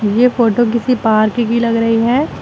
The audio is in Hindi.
ये फोटो किसी पार्क की लग रही है।